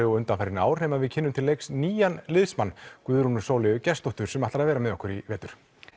og undanfarin ár nema við kynnum til leiks nýjan liðsmann Guðrúnu Sóleyju Gestsdóttur sem ætlar að vera með okkur í vetur